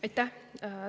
Aitäh!